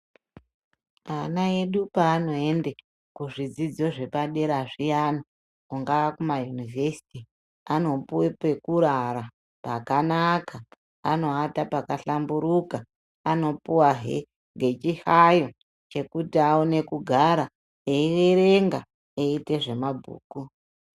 Ana edu paanoende kuzvidzidzo zvepadera zviyana mungava mumayunivhesiti ,anopuwe pekurara pakanaka .Anoata pakahlamburuka ,anopuwahe ngechihlayo chekuti awane kugara eierenga eiite zvemabhuku .